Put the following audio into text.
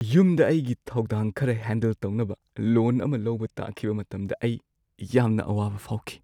ꯌꯨꯝꯗ ꯑꯩꯒꯤ ꯊꯧꯗꯥꯡ ꯈꯔ ꯍꯦꯟꯗꯜ ꯇꯧꯅꯕ ꯂꯣꯟ ꯑꯃ ꯂꯧꯕ ꯇꯥꯈꯤꯕ ꯃꯇꯝꯗ ꯑꯩ ꯌꯥꯝꯅ ꯑꯋꯥꯕ ꯐꯥꯎꯈꯤ꯫